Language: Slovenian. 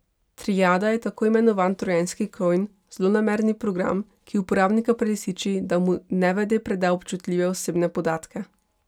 Triada je tako imenovani trojanski konj, zlonamerni program, ki uporabnika prelisiči, da mu nevede preda občutljive osebne podatke.